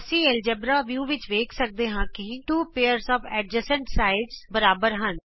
ਅਸੀਂ algebra view ਵਿਚ ਵੇਖ ਸਕਦੇ ਹਾਂ ਕਿ ਨਾਲ ਲਗਦੇ ਹਿੱਸਿਆਂ ਦੇ 2 ਜੋੜੇ ਬਰਾਬਰ ਹਨ